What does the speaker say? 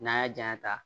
N'an y'a janya